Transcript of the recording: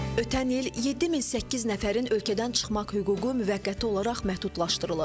Ötən il 7800 nəfərin ölkədən çıxmaq hüququ müvəqqəti olaraq məhdudlaşdırılıb.